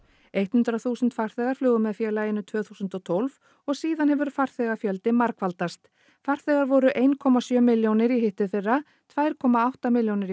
hundrað þúsund farþegar flugu með félaginu tvö þúsund og tólf og síðan hefur farþegafjöldi margfaldast farþegar voru eitt komma sjö milljónir í hitteðfyrra tvær komma átta milljónir